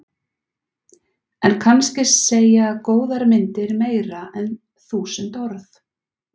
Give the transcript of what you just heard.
En kannski segja góðar myndir meira en þúsund orð.